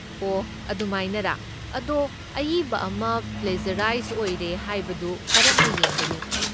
ꯑꯣꯍ ꯑꯗꯨꯃꯥꯏꯅꯔꯥ! ꯑꯗꯣ ꯑꯏꯕ ꯑꯃ ꯄ꯭ꯂꯦꯖꯔꯥꯏꯁ ꯑꯣꯏꯔꯦ ꯍꯥꯏꯕꯗꯨ ꯀꯔꯝꯅ ꯌꯦꯡꯒꯅꯤ?